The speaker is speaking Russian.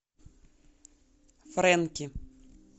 фрэнки